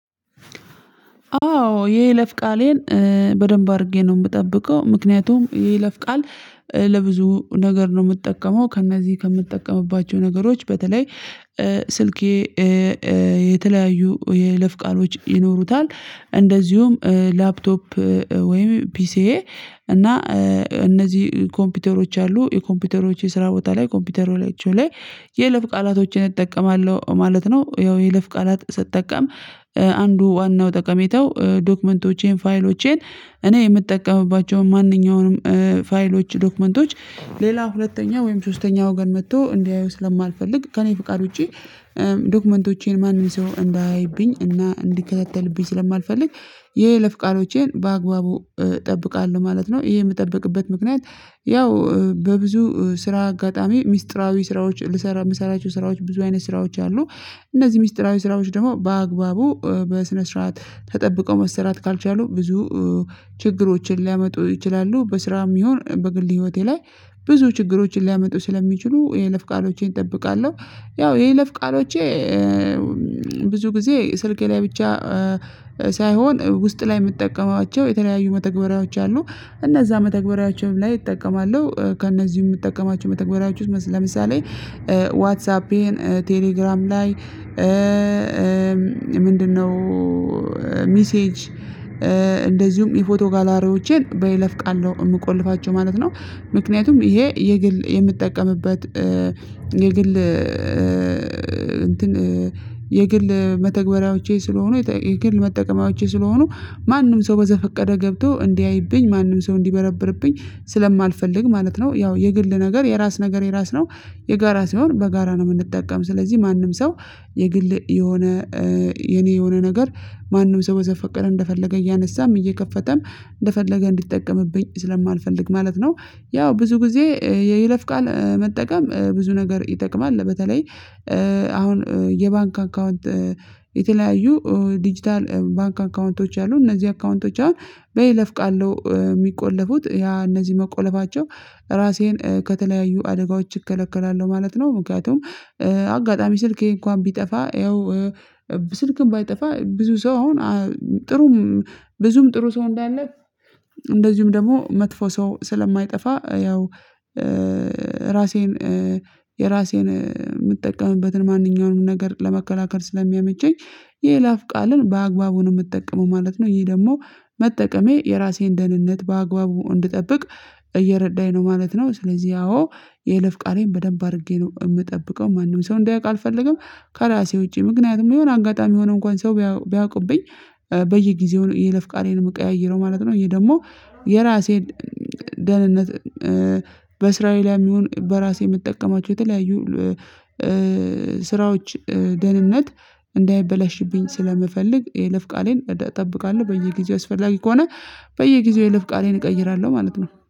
አዎ የይለፍ ቃሌን በደንብ አድርጌ ነው የምጠብቀው። ምክንያቱም የይለፍ ቃል ለብዙ ነገር ነው የምጠቀመው ከእነዚህ ከምጠቀምባቸው ነገሮች በተለይ ስልኬ የተለያዩ የይለፍ ቃሎች ይኖሩታል እንደዚሁም ላፕቶፕ ወይም ፒሲዬ እና እነዚህ ኮምፒውተሮች አሉ የኮምፒውተሮች የስራ ቦታ ላይ ኮምፒውተሩ ላቸው ላይ የለፍ ቃላቶችን እጠቀማለሁ ማለት ነው። ያው የይለፍ ቃላት ስጠቀም አንዱ ዋናው ጠቀሜታው ዶክመንቶቼን ፋይሎቼን እኔ የምጠቀምባቸውን ማንኛውንም ፋይሎች ዶክመንቶች ሌላ ሁለተኛ ወይም ሶስተኛ ወገን መጥቶ እንዲያዩ ስለማልፈልግ ከእኔ ፍቃድ ውጪ ዶክመንቶቼን ማንም ሰው እንዳይብኝ እና እንዲከታተልብኝ ስለማልፈልግ ይሄ ለፍቃዶቼን በአግባቡ እጠብቃለሁ ማለት ነው። ይሄ የምጠብቅበት ምክንያት ያው በብዙ ስራ አጋጣሚ ሚስጥራዊ ስራዎች ልሰራ የምሰራቸው ስራዎች ብዙ አይነት ስራዎች አሉ። እነዚህ ሚስጥራዊ ስራዎች ደግሞ በአግባቡ በስነ ስርዓት ተጠብቀው መሰራት ካልቻሉ ብዙ ችግሮችን ሊያመጡ ይችላሉ። በስራም ይሁን በግል ህይወቴ ላይ ብዙ ችግሮችን ሊያመጡ ስለሚችሉ የይለፍ ቃሎቼን እጠብቃለሁ። ያው የይለፍ ቃሎቼ ብዙ ጊዜ ስልኬ ላይ ብቻ ሳይሆን ውስጥ ላይ የምጠቀማቸው የተለያዩ መተግበሪያዎች አሉ። እነዛ መተግበሪያችን ላይ እጠቀማለሁ ከእነዚህም የምጠቀማቸው መተግበሪያዎች ውስጥ ለምሳሌ ዋትሳፔን ቴሌግራም ላይ ምንድነው? ሚሴጅ እንደዚሁም የፎቶ ጋላሪዎቼን በይለፍ ቃል ነው የምቆልፋቸው ማለት ነው። ምክንያቱም ይሄ የግል የምጠቀምበት የግል እንትን የግል መተግበሪያዎቼ ስለሆኑ የግል መጠቀሚያዎቼ ስለሆኑ ማንም ሰው በዘፈቀደ ገብቶ እንዲያይብኝ ማንም ሰው እንዲበረብርብኝ ስለማልፈልግ ማለት ነው። ያው የግል ነገር የራስ ነገር የራስ ነው የጋራ ሲሆን በጋራ ነው የምንጠቀም ስለዚህ ማንም ሰው የግል የሆነ የኔ የሆነ ነገር ማንም ሰው በዘፈቀደ እንደፈለገ እያነሳም እየከፈተም እንደፈለገ እንዲጠቀምብኝ ስለማልፈልግ ማለት ነው። ያው ብዙ ጊዜ የይለፍ ቃል መጠቀም ብዙ ነገር ይጠቅማል። በተለይ አሁን የባንክ አካውንት የተለያዩ ዲጂታል ባንክ አካውንቶች አሉ እነዚህ አካውንቶች አሁን በይለፍ ቃል ነው የሚቆለፉት ያ እነዚህ መቆለፋቸው ራሴን ከተለያዩ አደጋዎች እከለከላለሁ ማለት ነው። ምክንያቱም አጋጣሚ ስልኬ እንኳን ቢጠፋ ያው ስልክም ባይጠፋ ብዙ ሰው አሁን ጥሩም ብዙም ጥሩ ሰው እንዳለ እንደዚሁም ደግሞ መጥፎ ሰው ስለማይጠፋ ያው ራሴን የራሴን ምጠቀምበትን ማንኛውንም ነገር ለመከላከል ስለሚያመቸኝ የይላፍ ቃልን በአግባቡ ነው የምጠቀመው ማለት ነው። ይሄ ደግሞ መጠቀሜ የራሴን ደህንነት በአግባቡ እንድጠብቅ እየረዳኝ ነው ማለት ነው። ስለዚህ አዎ የይለፍ ቃሌን በደንብ አድርጌ ነው እምጠብቀው ማንም ሰው እንዲያውቅ አልፈልግም። ከራሴ ውጪ ምክንያቱም የሆነ አጋጣሚ ሆኖ እንኳን ሰው ቢያውቅብኝ በየጊዜው የይለፍ ቃሌን የምቀያይረው ማለት ነው። ይሄ ደግሞ የራሴን ደህንነት በእስራኤላውያን ይሁን በራሴ የምጠቀማቸው የተለያዩ ስራዎች ደህንነት እንዳይበላሽብኝ ስለምፈልግ የለፍ ቃሌን እጠብቃለሁ በየጊዜው አስፈላጊ ከሆነ በየጊዜው የለፍ ቃሌን እቀይራለሁ ማለት ነው